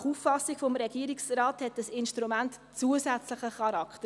Nach Auffassung des Regierungsrates hat dieses Instrument «zusätzlichen» Charakter.